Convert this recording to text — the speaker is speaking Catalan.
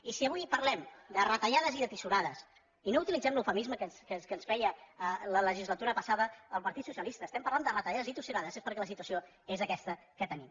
i si avui parlem de retallades i de tisorades i no utilitzem l’eufemisme que ens feia la legislatura passada el partit socialista si estem parlant de retallades i tisorades és perquè la situació és aquesta que tenim